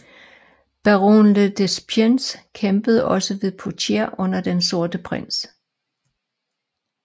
Baron le Despencer kæmpede også ved Poitier under den sorte prins